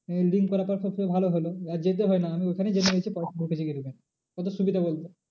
আহ link করার পর সব থেকে ভালো হলো আর যেতে হয় না আমি ওইখানেই জেনে গেছি পয়সা ঢুকেছে কি কত সুবিধা বলতো?